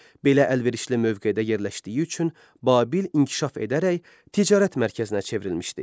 Belə əlverişli mövqedə yerləşdiyi üçün Babil inkişaf edərək ticarət mərkəzinə çevrilmişdi.